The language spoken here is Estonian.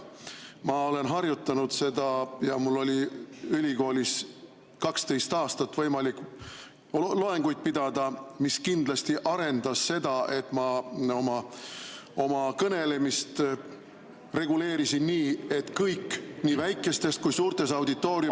Ma olen harjutanud seda ja mul oli ülikoolis 12 aastat võimalik loenguid pidada, mis kindlasti arendas seda, et ma oma kõnelemist reguleerin nii, et kõik, nii väikestes kui suurtes auditooriumites ...